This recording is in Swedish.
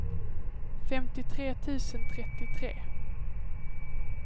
femtiotre tusen trettiotre